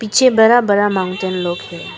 पीछे बड़ा बड़ा माउंटेन लोग है।